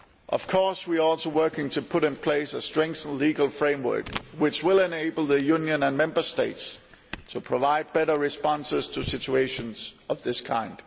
Of course we are also working to put in place a strengthened legal framework which will enable the Union and Member States to provide better responses to situations of this kind.